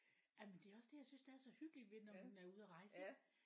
Jamen det er også det jeg synes der er så hyggeligt ved når man er ude og rejse ikke?